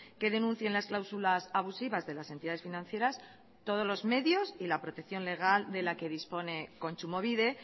que denuncien las cláusulas abusivas de las entidades financieras todos los medios y la protección legal de la que dispone kontsumobide